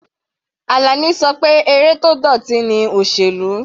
Alani ṣọ pé eré tó dọ̀tí ni òsèlú.